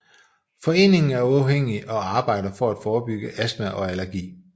Foreningen er uafhængig og arbejder for at forebygge astma og allergi